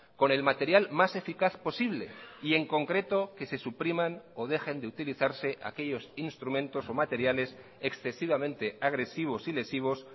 con el material más eficaz posible y en concreto que se supriman o dejen de utilizarse aquellos instrumentos o materiales excesivamente agresivos y lesivos